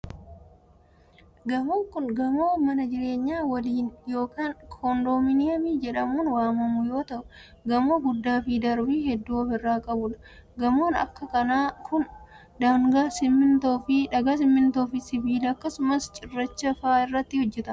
Gamoon kun, gamoo mana jireenyaa waliinii yokin koondoominiyamii jedhamuun waamamu yoo ta'u, gamoo guddaa fi darbii hedduu of irraa qabuu dha. Gamoon akka kanaa kun, dhagaa, simiintoo fi sibiila akkasumas cirracha faa irraa hojjatama.